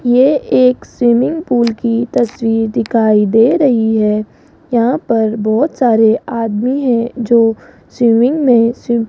ये एक swimming pool की तस्वीर दिखाई दे रही है यहां पर बोहोत सारे आदमी हैं जो स्विमिंग में सीम --